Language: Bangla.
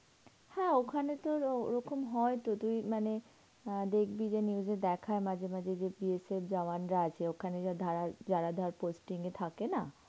হ্যাঁ ওখানে তোর ওরকম হয়তো, তুই মানে, অ্যাঁ দেখবি যে news এ দেখায় মাঝে মাঝে যে BSF এর জওয়ানরা আছে, ওখানে যা ধারার~ যারা ধর posting এ থাকে না?